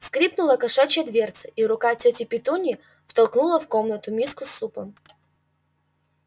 скрипнула кошачья дверца и рука тёти петуньи втолкнула в комнату миску с супом